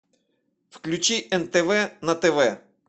включи нтв на тв